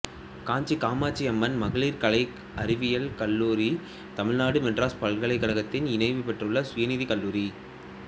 காஞ்சி காமாட்சி அம்மன் மகளிர் கலை அறிவியல் கல்லூரி தமிழ்நாடு மெட்ராஸ் பல்கலைக்கழகத்தின் இணைவு பெற்றுள்ள சுயநிதி கல்லூரி